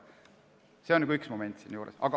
See on üks momente siinjuures.